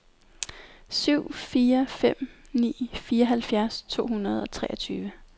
syv fire fem ni fireogfirs to hundrede og treogtyve